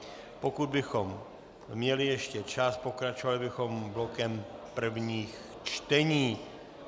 Pokud bychom měli ještě čas, pokračovali bychom blokem prvních čtení.